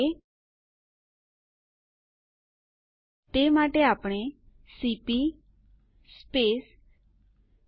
હવે આગળ નો આદેશ સુ છે